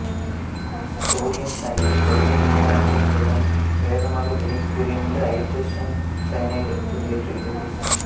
sodium cyanide வலிமை மிகுந்த அமிலங்களுடன் வேகமாக வினைபுரிந்து ஐதரசன் சயனைடை வெளியேற்றுகிறது